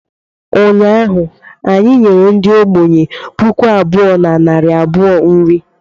Ụnyaahụ anyị nyere ndị ogbenye puku abụọ na narị abụọ nri